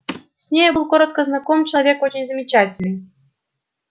с нею был коротко знаком человек очень замечательный